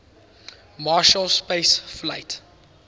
marshall space flight